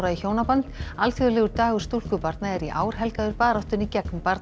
hjónaband alþjóðlegur dagur stúlkubarna er í ár helgaður baráttunni gegn